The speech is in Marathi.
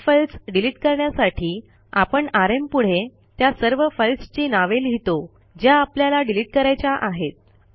अनेक फाईल्स डिलिट करण्यासाठी आपण आरएम पुढे त्या सर्व फाईल्सची नावे लिहितो ज्या आपल्याला डिलिट करायच्या आहेत